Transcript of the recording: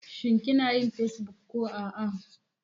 Shin kinayin Facebook ba babu?